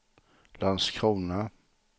Landskrona